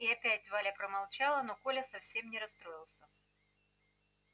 и опять валя промолчала но коля совсем не расстроился